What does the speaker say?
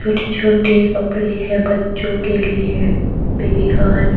छोटे छोटे कपड़े हैं बच्चों के लिए बेबी गर्ल ।